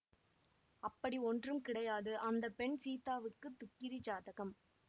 அப்படி ஒன்றும் கிடையாது அந்த பெண் சீதாவுக்கு துக்கிரி ஜாதகம்